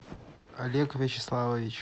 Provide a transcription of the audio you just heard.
олег вячеславович